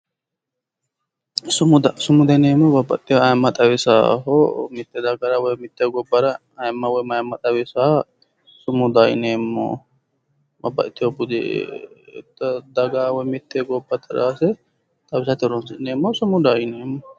sumuda sumuda yineemmo babbaxxino mitte dagara ayimma woyi mayimma xawisaaha sumudaho yinanni mitte daga ayimma xawisaaha sumudaho yineemmo.